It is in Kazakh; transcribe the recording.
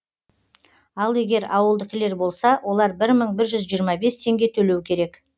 ал егер ауылдікілер болса олар бір мың бір жүз жиырма бес теңге төлеу керек